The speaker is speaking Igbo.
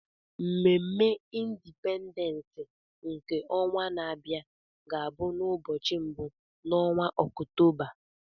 Mmemme Indipendens nke ọnwa na-abịa ga bụ n'ubọchị mbụ n'onwa Ọktoba.